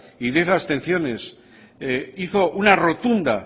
y diez abstenciones hizo una rotunda